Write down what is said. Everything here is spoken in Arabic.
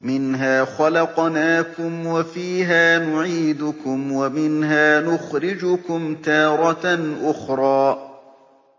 ۞ مِنْهَا خَلَقْنَاكُمْ وَفِيهَا نُعِيدُكُمْ وَمِنْهَا نُخْرِجُكُمْ تَارَةً أُخْرَىٰ